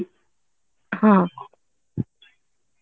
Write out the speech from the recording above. ହଁ